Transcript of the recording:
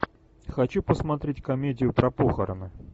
хочу посмотреть комедию про похороны